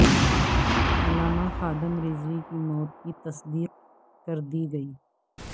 علامہ خادم رضوی کی مو ت کی تصدیق کردی گئی